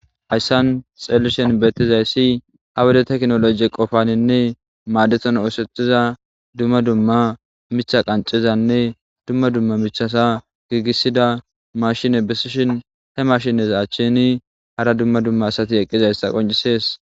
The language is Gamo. Hayssan xeelishen beettizayssi ha wede teknologe qofaninne maadeton oosetiza dumma dumma micha qancizanne dumma dumma michasa giigisida mashine bisishin he mashines achshini hara dumma dumma asati eqqizayssa qoncisees.